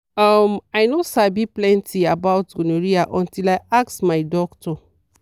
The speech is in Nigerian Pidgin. uhm i no sabi plenty about gonorrhea until i ask my doctor.